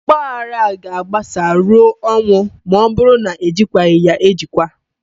Ọgbaaghara ga-agbasaa ruo ọnwụ ma ọ bụrụ na-ejikwaghị ya ejikwa